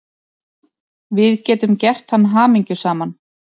Við getum gert hann hamingjusaman.